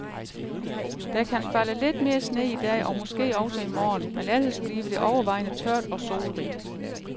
Der kan falde lidt mere sne i dag og måske også i morgen, men ellers bliver det overvejende tørt og solrigt.